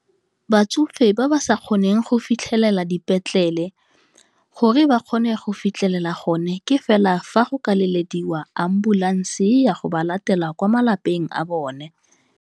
Batsofe ba ba sa kgoneng go fitlhelela dipetlele, gore ba kgone go fitlhelela gone, ke fela fa go ka le elediwa ambulanse e ya go ba latela kwa malapeng a bone.